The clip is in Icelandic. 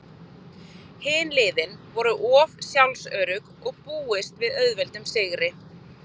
Hin liðin voru of sjálfsörugg og búist við auðveldum sigri.